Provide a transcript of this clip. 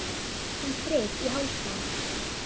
Hann þreif í hálsmál